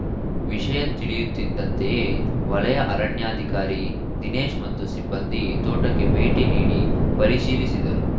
ವಿಷಯ ತಿಳಿಯುತ್ತಿದ್ದಂತೆಯೇ ವಲಯ ಅರಣ್ಯಾಧಿಕಾರಿ ದಿನೇಶ್‌ ಮತ್ತು ಸಿಬ್ಬಂದಿ ತೋಟಕ್ಕೆ ಭೇಟಿ ನೀಡಿ ಪರಿಶೀಲಿಸಿದರು